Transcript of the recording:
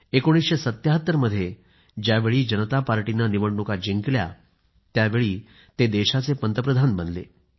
1977 मध्ये ज्यावेळी जनता पार्टीने निवडणुका जिंकल्या त्यावेळी ते देशाचे पंतप्रधान बनले